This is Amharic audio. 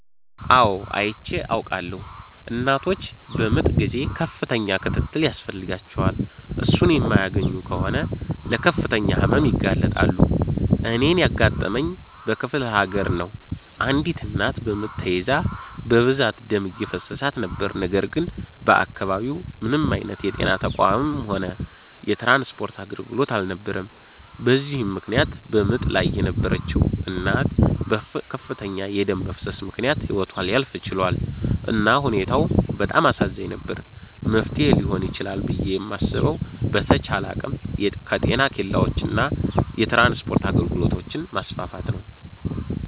አው አይቼ አዉቃለሁ። እናቶች በምጥ ጊዜ ከፍተኛ ክትትል ያስፈልጋቸዋል። እሱን የማያገኙ ከሆነ ለከፍተኛ ህመም ይጋለጣሉ። እኔን ያጋጠመኝ በክፍለሀገር ነው አንዲት እናት በምጥ ተይዛ በብዛት ደም እየፈሰሳት ነበር ነገር ግን በአከባቢው ምንም አይነት የጤና ተቋምም ሆነ የትራንስፖርት አገልግሎት አልነበረም በዚህም ምክነያት በምጥ ላይ የነበረችዉ እናት በከፍተኛ የደም መፍሰስ ምክነያት ህይወቷ ሊያልፍ ችሏል። እና ሁኔታው በጣም አሳዛኝ ነበር። መፍትሔ ሊሆን ይችላል ብየ የማስበዉ በተቻለ አቅም የጤና ኬላወችን እና የትራንስፖርት አገልግሎቶችን ማስፋፋት ነዉ።